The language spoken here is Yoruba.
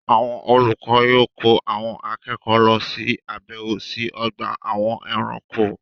Àwọn olùkọ yóò kó àwọn akẹ́kọ̀ọ́ lọ ṣe àbẹ̀wò sí ọgbà àwọn ẹranko.